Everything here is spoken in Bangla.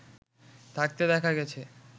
থাকতে দেখা গেছে